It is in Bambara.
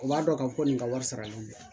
U b'a dɔn k'a fɔ ko nin ka wari sarali tɛ